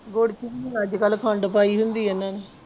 ਗੁੜ ਚ ਵੀ ਅੱਜ ਕੱਲ੍ਹ ਖੰਡ ਪਾਈ ਹੁੰਦੀ ਇਹਨਾਂ ਨੇ।